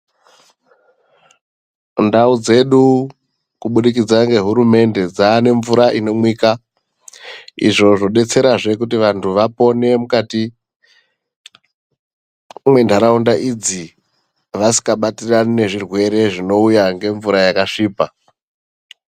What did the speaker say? Ndauya dzedu kubudikidza ngehurumende dzaane mvura inomwika . Izvo zvodetsera zve kuti vantu vapone mukati mwentaraunda idzi vasikabatiri zvirwere zvinouya ngemvura yakasvipa.